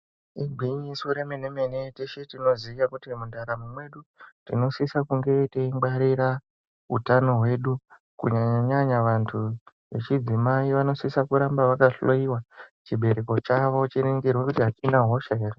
Igwinyiso remene-mene teshe tinoziya kuti mundaramo medu tinosisa kunge teingwarira hutano hwedu kunyanya nyanya vantu vechidzimai vanosisa kuramba vakahloiwa chibereki chawo chiningirwe kuti achina hosha ere.